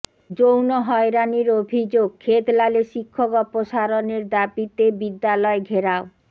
যৌন হয়রানির অভিযোগ ক্ষেতলালে শিক্ষক অপসারণের দাবিতে বিদ্যালয় ঘেরাও